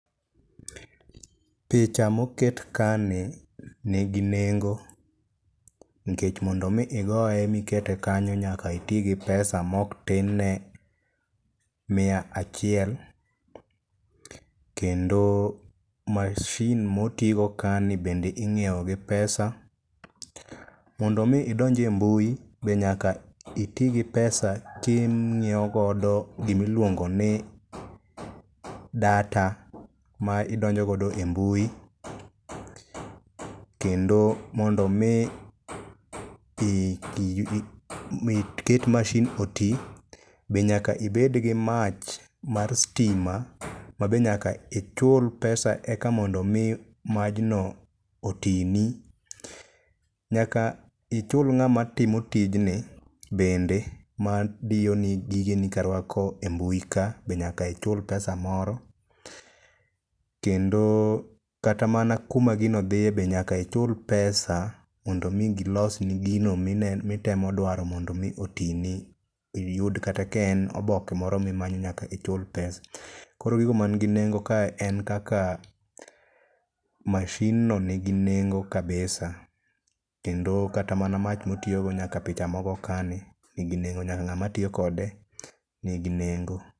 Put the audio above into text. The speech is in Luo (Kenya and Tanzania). Picha moket kani nigi nengo nkech mondo omi igoye mikete kanyo nyaka iti gi pesa moktinne mia achiel, kendo mashin motigo kani bende ing'iewo gi pesa. Mondo omi idonj e mbui be nyaka iti gi pesa king'iewo godo gimiluongo ni data ma idonjo godo e mbui, kendo mondo omi iket mashin oti be nyaka ibed gi mach mar stima ma be nyaka ichul pesa eka mondo omi majno otini. Nyaka ichul ng'ama timo tijni bende madiyoni gigeni karwako e mbui ka be nyaka ichul pesa moro. Kendo kata mana kuma gino dhiye bende nyaka ichul pesa mondo omi gilosni gino mitemo dwaro mondo omi otini iyud kata ka en oboke moro mimanyo nyaka ichul pesa. Koro gigo mangi nengo kae en kaka mashinno nigi nengo kabisa kendo kata mana mach motiyogo nyaka picha mogo kani nigi nengo nyaka ng'ama tiyo kode nigi nengo.